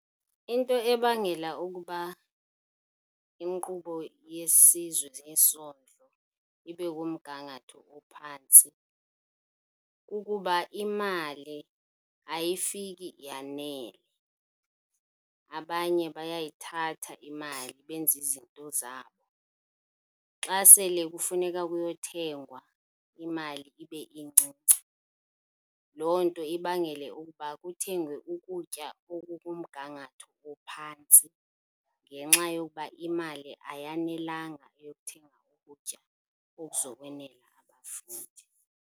Into ebangela ukuba inkqubo yesizwe yesondlo ibe kumgangatho ophantsi, kukuba imali ayifiki yanele. Abanye bayayithatha imali benze izinto zabo, xa sele kufuneka kuyothengwa imali ibe incinci. Loo nto ibangele ukuba kuthengwe ukutya okukumgangatho ophantsi, ngenxa yokuba imali ayanelanga eyokuthenga ukutya okuzokwenela abafundi.